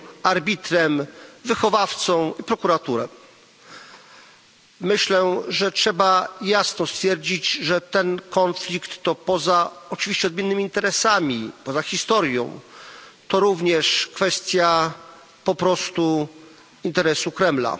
arbitrem, wychowawcą i prokuratorem. Myślę, że trzeba jasno stwierdzić, że ten konflikt to poza oczywiście odmiennym interesami, poza historią również kwestia po prostu interesu Kremla.